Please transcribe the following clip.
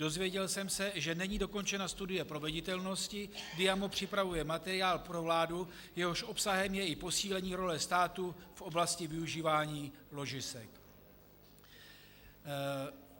Dozvěděl jsem se, že není dokončena studie proveditelnosti, Diamo připravuje materiál pro vládu, jehož obsahem je i posílení role státu v oblasti využívání ložisek.